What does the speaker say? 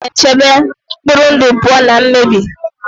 Vitamin E na-echebe mkpụrụ ndụ pụọ na mmebi.